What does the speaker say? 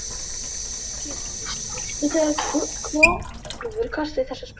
Hann kippist við þegar Hrólfur kastar þessari sprengju.